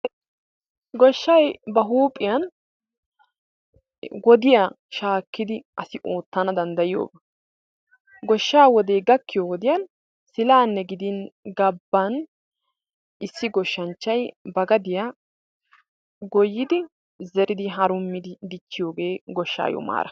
Goshshaay ba huuphphiyan wodiya shaakkidi asi oottana danddayiyoba. Goshshaa wode gakkiyo wodiyan silaanne gidin gabban issi gooshshanchchay ba gadiya goyidi zeridi harummidi dichchiyogee goshshayo maara.